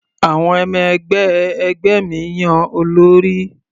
Àwọn ọmọ-ẹgbẹ́ ẹgbẹ́ mi yan olórí.